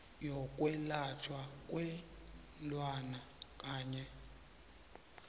yokwelatjhwa kweenlwana kanye